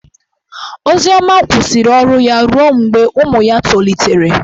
Ozioma kwụsịrị ọrụ ya ruo mgbe ụmụ ya tolitere.